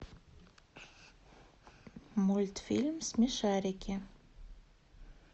мультфильм смешарики